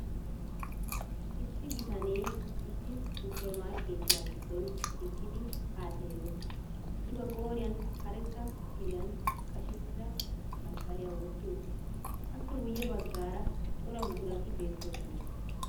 Issi bitanee issi supper markkeetiya giddon eqqidi ha xeellees, I ba qooriyan karetta kiriyan qashettida masqqaliya wotti uttiis. Appe guye baggaara cora buqurat beettoosona.